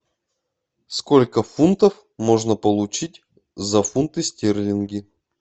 сколько фунтов можно получить за фунты стерлинги